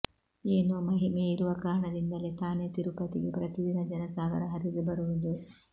ಏನೊ ಮಹಿಮೆ ಇರುವ ಕಾರಣಾದಿಂದಲೆ ತಾನೆ ತಿರುಪತಿಗೆ ಪ್ರತಿದಿನ ಜನಸಾಗರ ಹರಿದು ಬರುವುದು